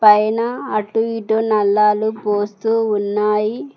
పైన అటు ఇటు నల్లాలు పోస్తూ ఉన్నాయి.